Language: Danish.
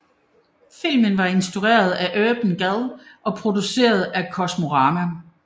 Filmen var instrueret af Urban Gad og produceret af Kosmorama